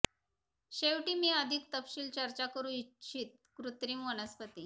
शेवटी मी अधिक तपशील चर्चा करू इच्छित कृत्रिम वनस्पती